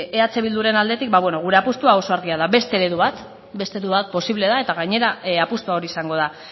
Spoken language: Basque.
eh bilduren aldetik bueno gure apustua oso argia da beste eredu bat beste eredu bat posible da eta gainera apustua hori izango da